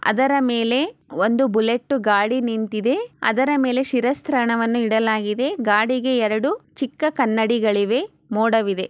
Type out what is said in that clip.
ಅದರ ಮೇಲೆ ಒಂದು ಬುಲೆಟ್ ಗಾಡಿ ನಿಂತಿದೆ ಅದರ ಮೇಲೆ ಶಿರಸ್ತ್ರಾನ್ನ ಅನು ಇಡಲಾಗಿದೆ ಗಾಡಿಗೆ ಎರೆಡು ಚಿಕ್ಕ ಕನ್ನಡಿಗಳಿವೆ ಮೂಡವಿದೆ.